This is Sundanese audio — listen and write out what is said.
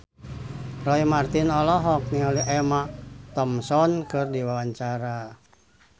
Roy Marten olohok ningali Emma Thompson keur diwawancara